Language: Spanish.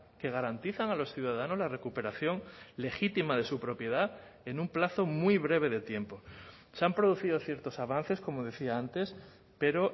que garantizan a los ciudadanos la recuperación legítima de su propiedad en un plazo muy breve de tiempo se han producido ciertos avances como decía antes pero